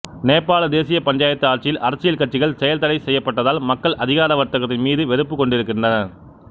நேபாள தேசிய பஞ்சாயத்து ஆட்சியில் அரசியல் கட்சிகள் செயல் தடை செய்யப்பட்டதால் மக்கள் அதிகார வர்க்கத்தின் மீது வெறுப்புக் கொண்டிருந்தனர்